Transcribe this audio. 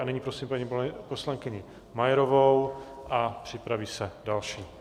A nyní prosím paní poslankyni Majerovou a připraví se další.